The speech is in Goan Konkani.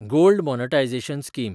gold monetisation scheme